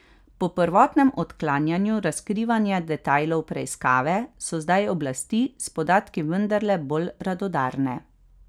Po prvotnem odklanjanju razkrivanja detajlov preiskave, so zdaj oblasti s podatki vendarle bolj radodarne.